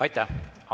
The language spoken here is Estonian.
Aitäh!